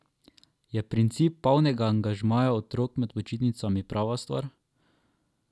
Je princip polnega angažmaja otrok med počitnicami prava stvar?